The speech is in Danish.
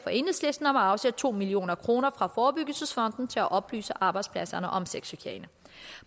og enhedslisten om at afsætte to million kroner fra forebyggelsesfonden til at oplyse arbejdspladserne om sexchikane